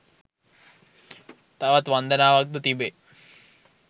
තවත් වන්දනාවක්ද තිබේ.